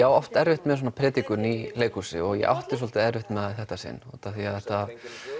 á oft erfitt með svona predikun í leihúsi og ég átti svolítið erfitt með það þetta sinn því að þetta